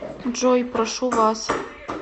джой прошу вас